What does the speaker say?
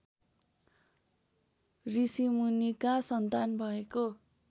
ऋषिमुनिका सन्तान भएको